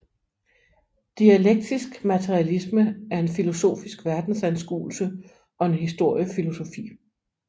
Dialektisk materialisme er en filosofisk verdensanskuelse og en historiefilosofi